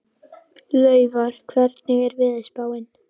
Laufar, hvernig er veðurspáin?